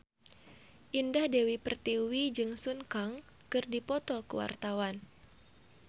Indah Dewi Pertiwi jeung Sun Kang keur dipoto ku wartawan